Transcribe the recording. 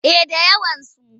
Eh da yawansu.